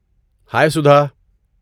ہائے سدھا!